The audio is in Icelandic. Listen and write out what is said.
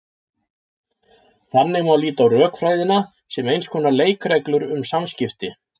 Þannig má líta á rökfræðina sem eins konar leikreglur um samskipti.